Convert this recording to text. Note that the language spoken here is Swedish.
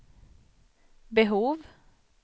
behov